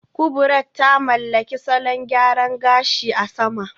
Kubrat ta mallaki salon gyaran gashi a sama